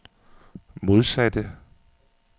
modsatte